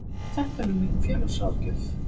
Þetta er nú mín félagsráðgjöf.